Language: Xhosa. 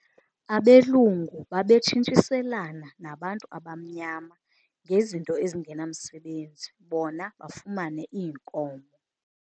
Abelungu babetshintshiselana nabantu abamnyama ngezinto ezingenamsebenzi bona bafumane iinkomo.